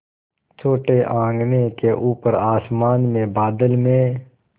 छोटे आँगन के ऊपर आसमान में बादल में